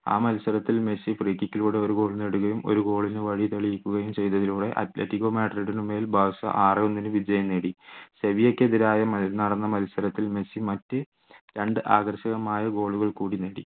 ആ മത്സരത്തിൽ Messi free kick ലൂടെ ഒരു goal നേടുകയും ഒരു goal ന് വഴി തെളിയിക്കുകയും ചെയ്തതിലൂടെ അത്ലറ്റികോ മാഡ്രിഡിനെ മേൽ ബാഴ്‌സ ആറേ ഒന്നിന് വിജയം നേടി സെവിയ്യക്കെതിരെ നടന്ന മത്സരത്തിൽ മെസ്സി മറ്റ് രണ്ട് ആകർഷകമായ goal കൾ കൂടി നേടി.